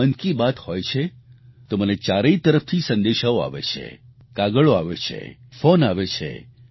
જ્યારે મન કી બાત હોય છે તો મને ચારેય તરફથી સંદેશાઓ આવે છે કાગળો આવે છે ફોન આવે છે